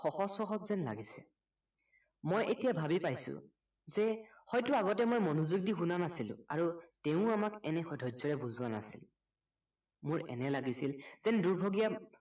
সহজ সহজ যেন লাগিছে মই এতিয়া ভাৱি পাইছো যে হয়তো আগতে মই মনোযোগ শুনা নাছিলো আৰু তেওঁও আমাক এনে সহ্য়ৰে বুজোৱা নাছিল মোৰ এনে লাগিছিল যেন দুৰ্ভগীয়া